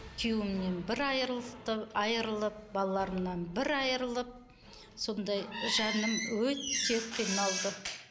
күйеуімнен бір айырылып балаларымнан бір айырылып сондай жаным өте қиналды